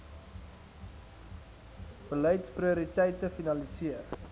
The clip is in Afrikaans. beleids prioriteite finaliseer